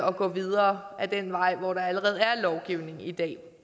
at gå videre ad den vej hvor der allerede er lovgivning i dag